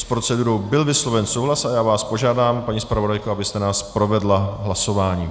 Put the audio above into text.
S procedurou byl vysloven souhlas a já vás požádám, paní zpravodajko, abyste nás provedla hlasováním.